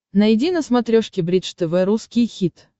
найди на смотрешке бридж тв русский хит